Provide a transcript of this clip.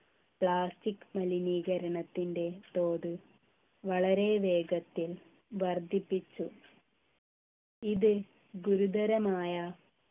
plastic മലിനീകരണത്തിൻ്റെ തോത് വളരെ വേഗത്തിൽ വർദ്ധിപ്പിച്ചു ഇത് ഗുരുതരമായ